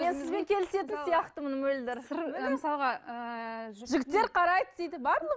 мен сізбен келісетін сияқтымын мөлдір мысалға ыыы жігіттер қарайды дейді